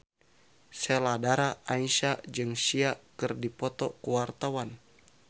Sheila Dara Aisha jeung Sia keur dipoto ku wartawan